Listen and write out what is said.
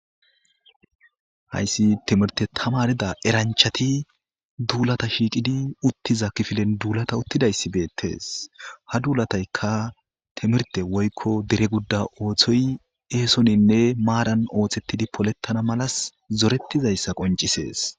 hayssi timirte tamarida eranchati duulata shiiqidi uttiza kifilen duulata uttidayssi beettes ha duulataykka timirte woykko dere gudda ooththoy eesoninne maadan ooththettidi polettana malas zorettizayssa qoncisees